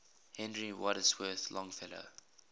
henry wadsworth longfellow